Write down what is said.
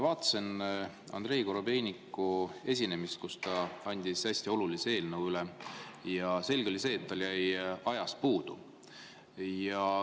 Vaatasin Andrei Korobeiniku esinemist, kus ta andis hästi olulise eelnõu üle, ja selge oli see, et tal jäi ajast puudu.